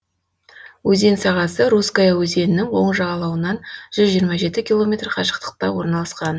өзен сағасы русская өзенінің оң жағалауынан жүз жиырма жеті километр қашықтықта орналасқан